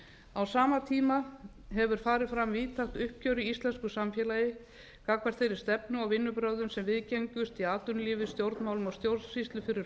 á sama tíma hefur farið fram víðtækt uppgjör í íslensku samfélagi gagnvart þeirri stefnu og vinnubrögðum sem viðgengust í atvinnulífi stjórnmálum og stjórnsýslu fyrir